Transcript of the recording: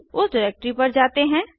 उस डिरेक्टरी पर जाते हैं